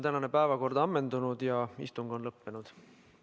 Tänane päevakord on ammendunud ja istung on lõppenud.